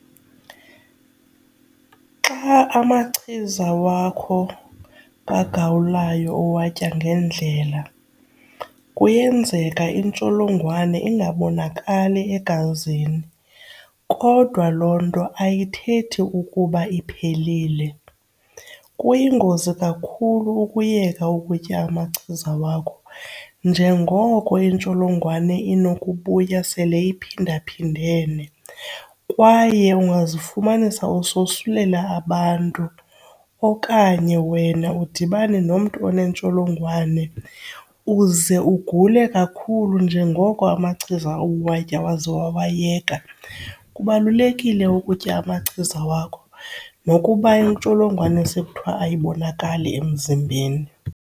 Xa amachiza wakho kagawulayo uwatya ngendlela kuyenzeka intsholongwane ingabonakali egazini, kodwa loo nto ayithethi ukuba iphelile. Kuyingozi kakhulu ukuyeka ukutya amachiza wakho njengoko intsholongwane inokubuya sele iphindaphindene. Kwaye ungazifumanisa usosulela abantu okanye wena udibane nomntu onentsholongwane uze ugule kakhulu njengoko amachiza uwatye waze wawayeka. Kubalulekile ukutya amachiza wakho nokuba intsholongwane sekuthiwa ayibonakali emzimbeni.